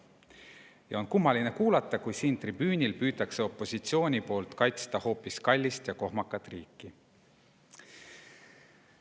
Ja on kummaline kuulata, kui siin tribüünil püüab opositsioon kaitsta hoopis kallist ja kohmakat riiki.